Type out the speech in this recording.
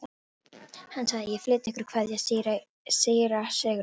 Hann sagði: Ég flyt ykkur kveðju síra Sigurðar.